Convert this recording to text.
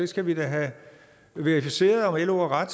skal da have verificeret om lo har ret